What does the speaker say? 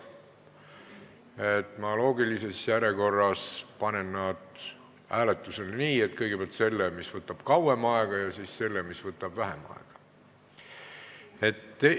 Ma panen need loogilises järjekorras hääletusele: kõigepealt selle, mis võtab kauem aega, ja siis selle, mis võtab vähem aega.